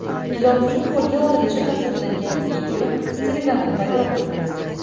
Ilonning qo‘lga olinishi tasvirlangan video Telegram’da paydo bo‘ldi .